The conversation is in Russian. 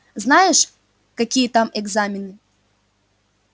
знаешь какие там экзамены